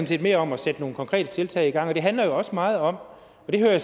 set mere om at sætte nogle konkrete tiltag i gang og det handler jo også meget om og det hører jeg